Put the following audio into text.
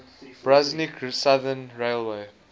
brunswick southern railway